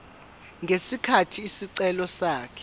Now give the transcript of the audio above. ngesikhathi isicelo sakhe